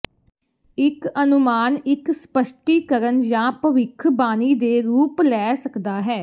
ਇੱਕ ਅਨੁਮਾਨ ਇੱਕ ਸਪੱਸ਼ਟੀਕਰਨ ਜਾਂ ਭਵਿੱਖਬਾਣੀ ਦੇ ਰੂਪ ਲੈ ਸਕਦਾ ਹੈ